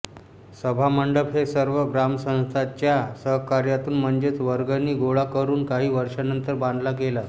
सभामंडप हे सर्व ग्रामस्थांच्या सहकार्यातून म्हणजेच वर्गणी गोळा करून काही वर्षानंतर बांधलं गेलं